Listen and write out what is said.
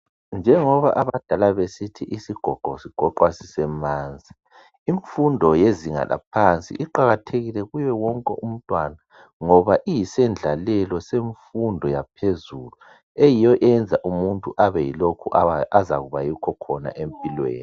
Njengoba abadala besithi isigogo sigoqwa sisemanzi, imfundo yezinga laphansi iqakathekile kuye wonke umntwana ngoba iyisendlalelo semfundo yaphezulu eyiyo eyenza umuntu abe yilokhu azakuba yikho khona empilweni.